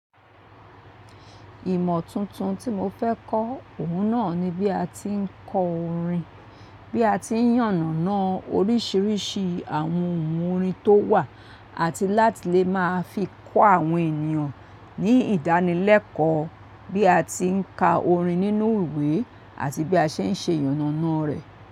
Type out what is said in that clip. Ìmọ̀ tuntun tí mo fẹ́ kọ́, òun náà ni bí a ti ń kọ orin, bí a ti ń yànnàná oríṣiríṣi àwọn ohun orin tó wà àti láti lè máa fi kọ́ àwọn ènìyàn ní ìdánilẹ́kọ̀ọ́ bí a ti ń ka orin nínú ìwé àti bí a ṣe ń ṣe yànnàná rẹ̀.